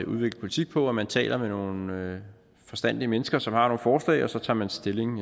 udvikle politik på at man taler med nogle forstandige mennesker som har forslag og så tager man stilling